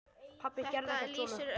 Pabbi gerði ekkert svona.